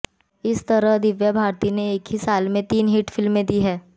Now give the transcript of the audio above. इस तरह दिव्या भारती की एक ही साल में तीन हिट फिल्में दी थी